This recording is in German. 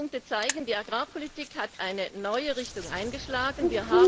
Die genannten Punkte zeigen, dass die Agrarpolitik eine neue Richtung eingeschlagen hat.